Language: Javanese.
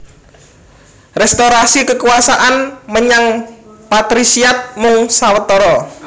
Restorasi kekuasaan menyang patrisiat mung sawetara